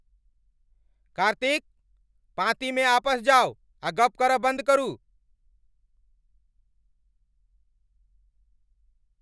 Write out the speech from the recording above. कार्तिक! पाँती मे आपस जाउ आ गप्प करब बन्न करू।